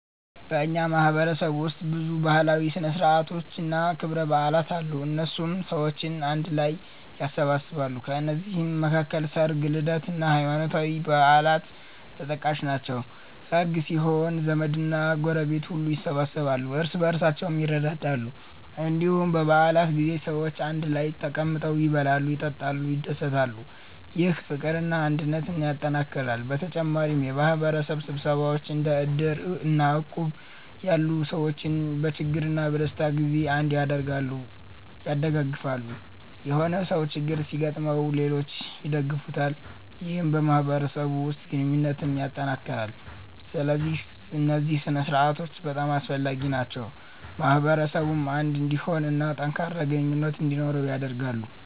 በእኛ ማህበረሰብ ውስጥ ብዙ ባህላዊ ሥነ ሥርዓቶችና ክብረ በዓላት አሉ፣ እነሱም ሰዎችን አንድ ላይ ያሰባስባሉ። ከነዚህ መካከል ሰርግ፣ ልደት እና ሃይማኖታዊ በዓላት ተጠቃሽ ናቸው። ሰርግ ሲኖር ዘመድና ጎረቤት ሁሉ ይሰበሰባሉ፣ እርስ በርሳቸውም ይረዳዳሉ። እንዲሁም በ በዓላት ጊዜ ሰዎች አንድ ላይ ተቀምጠው ይበላሉ፣ ይጠጣሉ፣ ይደሰታሉ። ይህ ፍቅርና አንድነትን ያጠናክራል። በተጨማሪም የማህበረሰብ ስብሰባዎች እንደ እድር እና እቁብ ያሉ ሰዎችን በችግርና በደስታ ጊዜ አንድ ያደርጋሉ(ያደጋግፋሉ)።የሆነ ሰው ችግር ሲገጥመው ሌሎች ይደግፉታል ይህም በማህበረሰቡ ውስጥ ግንኙነትን ያጠናክራል። ስለዚህ እነዚህ ሥነ ሥርዓቶች በጣም አስፈላጊ ናቸው፣ ማህበረሰቡን አንድ እንዲሆን እና ጠንካራ ግንኙነት እንዲኖረው ያደርጋሉ።